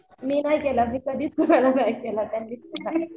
मी नाही केला मी कधीच कुणाला नाही केला त्यांनीच केला.